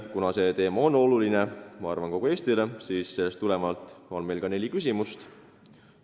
Kuna see teema on oluline minu arvates kogu Eestile, siis on meil neli küsimust.